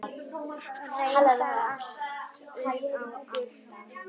Reyndar allt upp í átta.